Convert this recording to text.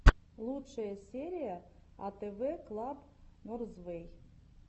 лучшая серия атэвэ клаб норзвэй